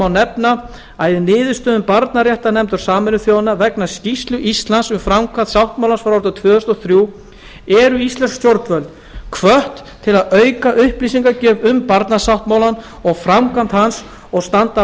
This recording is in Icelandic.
nefna að í niðurstöðum barnaréttarnefndar sameinuðu þjóðanna vegna skýrslu íslands um framkvæmd barnasáttmálans frá tvö þúsund og þrjú eru íslensk stjórnvöld hvött til að auka upplýsingagjöf um barnasáttmálann og framkvæmd hans og standa að